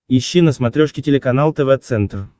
ищи на смотрешке телеканал тв центр